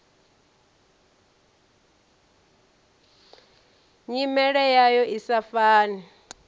nyimele yayo i sa fani